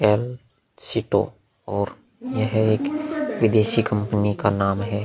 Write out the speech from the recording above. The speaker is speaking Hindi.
केलसीटों और यह एक विदेशी कंपनी का नाम है।